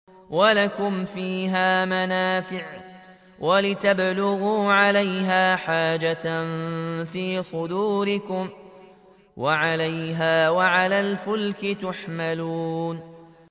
وَلَكُمْ فِيهَا مَنَافِعُ وَلِتَبْلُغُوا عَلَيْهَا حَاجَةً فِي صُدُورِكُمْ وَعَلَيْهَا وَعَلَى الْفُلْكِ تُحْمَلُونَ